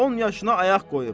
10 yaşına ayaq qoyub.